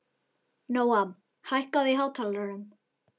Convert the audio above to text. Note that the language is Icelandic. Nóam, hækkaðu í hátalaranum.